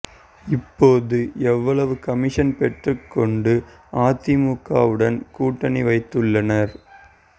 இப்போது எவ்வளவு கமிஷன் பெற்றுக் கொண்டு அதிமுகவுடன் கூட்டணி வைத்துள்ளனர்